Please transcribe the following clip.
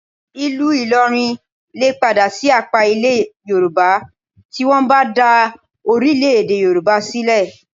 Ìlú Ìlọrin lè padà sí apá Ilẹ̀ Yorùbá tí wọ́n bá dá orílẹ̀-èdè Yorùbá sílẹ̀